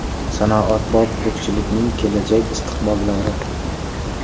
Sanoatbop tokchilikning kelajak istiqbollari.